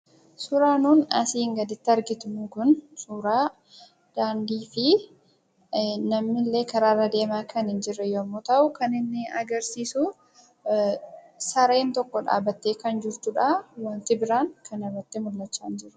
Suuraan nuun asiin gaditti arginu Kun, suuraa daandii fi namni illee karaa irra deemaa kan hin jirre yemmuu ta'u, kan inni agarsiisu, sareen tokko dhaabattee kan jirtudha. Waanti biraa kana irratti mul'achaa hin jiru.